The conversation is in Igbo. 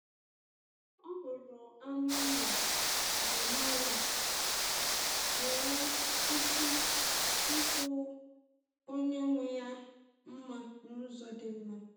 Ọ hụrụ anụ ụlọ ọ maara, wee kwụsị ikwu onye nwe ya mma n’ụzọ dị mma.